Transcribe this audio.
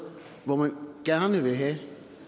hvor de gerne vil have